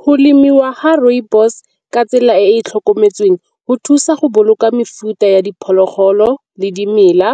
Go lemiwa ga rooibos ka tsela e e tlhokometsweng go thusa go boloka mefuta ya diphologolo le dimela,